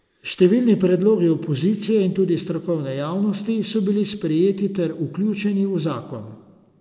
Številni predlogi opozicije in tudi strokovne javnosti so bili sprejeti ter vključeni v zakon.